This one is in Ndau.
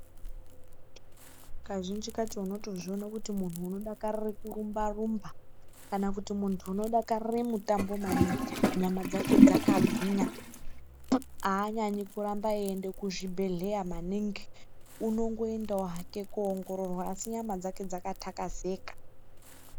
Kazhinji kacho unotozvione kuti muntu unodakarire kurumba rumba kana kuti muntu unodakarire mutambo maningi aanyanyi kuendekuzvibhedhleya maningi unongoendawo hake koongororwa asi nyama dzake dzaka takazeka.